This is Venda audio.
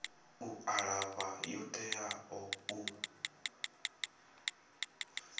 u alafha yo teaho u